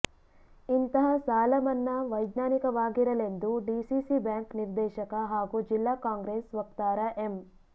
ಇಂತಹ ಸಾಲ ಮನ್ನಾ ವೈಜ್ಞಾನಿಕವಾಗಿರಲೆಂದು ಡಿಸಿಸಿ ಬ್ಯಾಂಕ್ ನಿರ್ದೇಶಕ ಹಾಗೂ ಜಿಲ್ಲಾ ಕಾಂಗ್ರೆಸ್ ವಕ್ತಾರ ಎಂ